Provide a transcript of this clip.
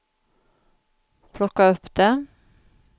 plocka upp det